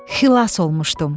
Xilas olmuşdum.